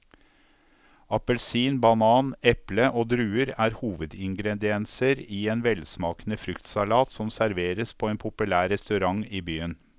Appelsin, banan, eple og druer er hovedingredienser i en velsmakende fruktsalat som serveres på en populær restaurant i byen.